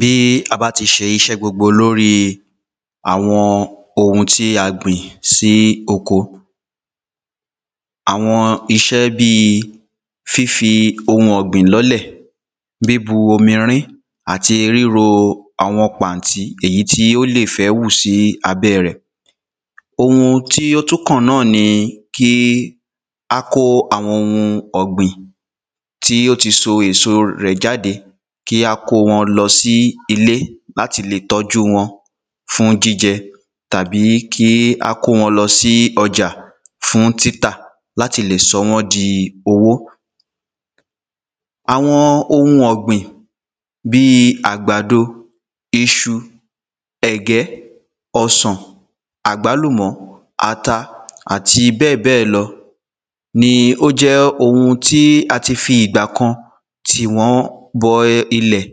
bí a bá tí ṣe iṣẹ́ gbogbo lóri àwọn ohun tí a gbìn sí oko àwọn iṣẹ́ bíi fífi ohun ọ̀gbìn lọ́lẹ̀, bíbu omi rín-in àti ríro àwọn pàntí èyí ó lè fẹ́ wù sí abẹ́ rẹ̀, ohun tí o tún kàn náà ni kí á kó àwọn ohun ọ̀gbìn tí ó ti so èso rẹ̀ jáde, kí á kó wọn lọ sí ilé. láti lè tọ́jú wọ́n fún jíjẹ tàbí kí á kó wọn lọ sí ọjà fún títa láti lè sọ wọ́n di owó àwọn ohun ọ̀gbìn bíi àgbàdo, iṣu, ẹ̀gẹ́, ọsàn, àgbálúmọ̀, ata àti bẹ́ẹ̀bẹ́ẹ̀ lọ, ni ó jẹ́ ohun tí a ti fi ìgbà kan tì wọ́n bọ ilẹ̀.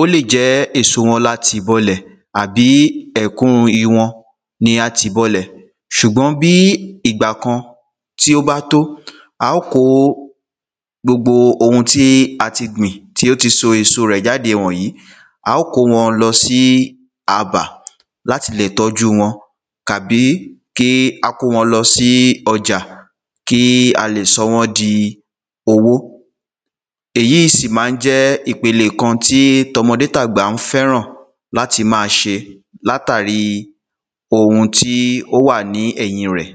ó lè jẹ́ èso wọn la tì bọ lẹ̀ tàbí ẹ̀kún iwọn ni a tì bọ lẹ̀. ṣùgbọ́n bí ìgbà kan tí ó bá tó, a ó kó gbogbo ohun tí a ti gbìn tí ó ti so èso rẹ̀ jáde wònyí, a ó kó wọn lọ sí abà láti lè tọ́jú wọn tàbí kí á kó wọn lọ sí ọjà kí a lè sọ wọ́n di owó. èyí í sí máa ń jẹ́ ipele kan tí tọmọdé tàgbà ń fẹ́ràn láti máa ṣe, látàrí ohun tí ó wà ní ẹ̀yìn rẹ̀.